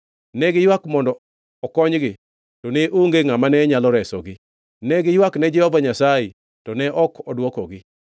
Ne giywak mondo okonygi, to ne onge ngʼama ne nyalo resogi; ne giywakne Jehova Nyasaye, to ne ok odwokogi.